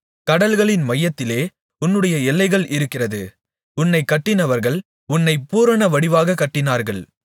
கடல்களின் மையத்திலே உன்னுடைய எல்லைகள் இருக்கிறது உன்னைக் கட்டினவர்கள் உன்னைப் பூரணவடிவாகக் கட்டினார்கள்